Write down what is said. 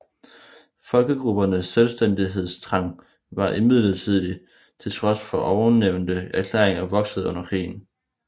Folkegruppernes selvstændighedstrang var imidlertid til trods for ovennævnte erklæringer vokset under krigen